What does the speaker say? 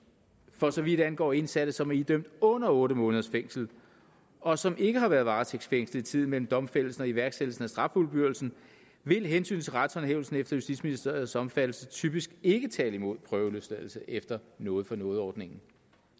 for så vidt angår indsatte som er idømt under otte måneders fængsel og som ikke har været varetægtsfængslede i tiden mellem domfældelsen og iværksættelsen af straffuldbyrdelsen vil hensynet til retshåndhævelsen efter justitsministeriets opfattelse typisk ikke tale imod prøveløsladelse efter noget for noget ordningen